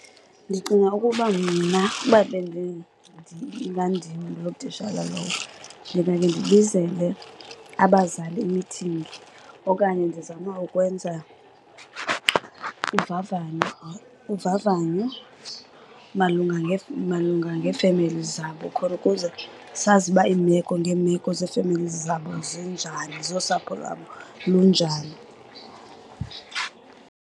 Ndicinga ukuba mna uba ingandim loo tishala lowo ndingake ndibizele abazali imithingi okanye ndizame ukwenza uvavanyo. Uvavanyo malunga , malunga ngee-families zabo khona ukuze sazi uba iimeko ngeemeko zee-families zabo zinjani, zosapho lwabo lunjani.